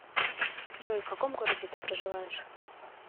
джой в каком городе ты проживаешь